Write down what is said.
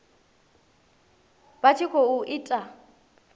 vha tshi khou i ita